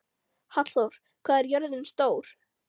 Hallþór, hvað er jörðin stór?